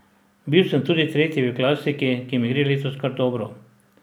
Bil sem tudi tretji v klasiki, ki mi gre letos kar dobro.